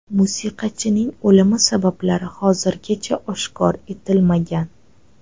Musiqachining o‘limi sabablari hozirgacha oshkor etilmagan.